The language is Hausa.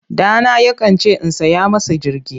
Ɗana yakan ce in saya masa jirgi.